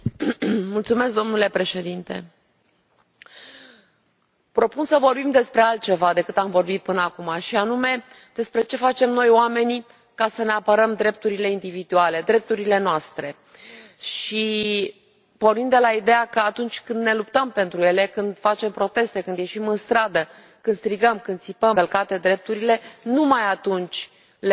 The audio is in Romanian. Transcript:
Domnule președinte, propun să vorbim despre altceva decât am vorbit până acum, și anume despre ce facem noi, oamenii, ca să ne apărăm drepturile individuale, drepturile noastre, pornind de la ideea că doar atunci când ne luptăm pentru ele, când facem proteste, când ieșim în stradă, când strigăm, când țipăm că ne sunt încălcate drepturile, doar atunci le vom avea.